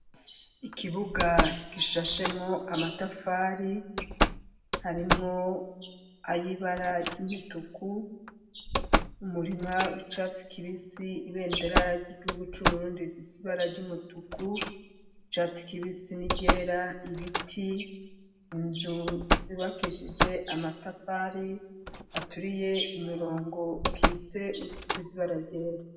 Ikibuga gishashemwo amatafari harimwo ay'ibara ry'umutuku umurima w'icatsi kibisi ibendera ry'igihugu c'uburundi bifise ibara ry'umutuku icatsi kibisi nigera ibiti inzu z'ibakizshae ije amatafari aturiye imirongo kitse ufise ziba aragera.